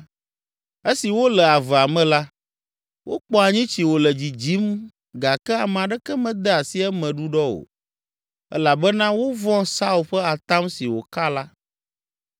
Esi wole avea me la, wokpɔ anyitsi wole dzidzim gake ame aɖeke mede asi eme ɖuɖɔ o, elabena wovɔ̃ Saul ƒe atam si wòka la.